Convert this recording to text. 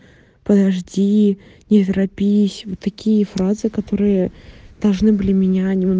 подожди не торопись вот такие фразы которые должны были меня нем